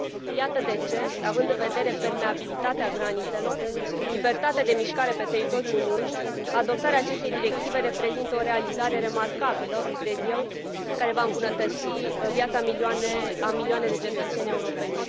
Iată de ce, având în vedere permeabilitatea granițelor și libertatea de mișcare pe teritoriul Uniunii, adoptarea acestei directive reprezintă o realizare remarcabilă, cred eu, care va îmbunătăți viața a milioane de cetățeni europeni.